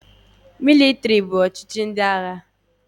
Mịlịtrị bụ ọchịchị ndị agha.